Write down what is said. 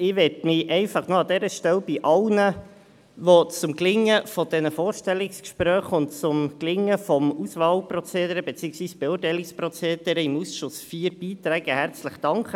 Ich möchte mich an dieser Stelle einfach noch bei allen herzlich bedanken, die zum Gelingen der Vorstellungsgespräche und des Auswahl- beziehungsweise Beurteilungsprozederes im Ausschuss IV beigetragen haben.